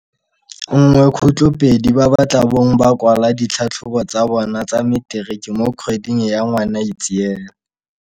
1.2 ba ba tla bong ba kwala ditlhatlhobo tsa bona tsa Materiki mo kgweding ya Ngwanaitseele.